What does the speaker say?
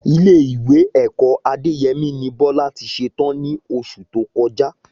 Ilé ìwé ẹ̀kọ́ Adéyẹmí ni Bọlá tí ṣe tán ní oṣù tó kọjá